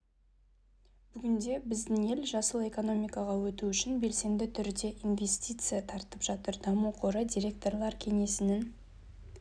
бүгінде біздің ел жасыл экономикаға өту үшін белсенді түрде инвестиция тартып жатыр даму қоры директорлар кеңесінің